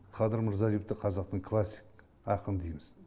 қадыр мырзалиевті қазақтың классик ақыны дейміз